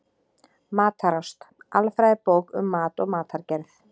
Matarást: Alfræðibók um mat og matargerð.